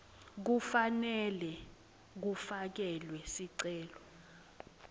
kufanele kufakelwe sicelo